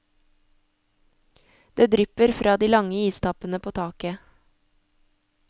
Det drypper fra de lange istappene i taket.